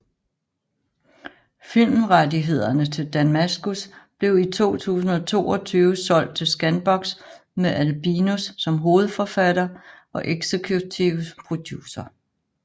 Filmrettighederne til Damaskus blev i 2022 solgt til Scanbox med Albinus som hovedforfatter og executive producer